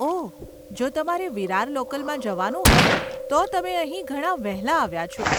ઓહ, જો તમારે વિરાર લોકલમાં જવાનું હોય તો તમે અહીં ઘણાં વહેલા આવ્યાં છો.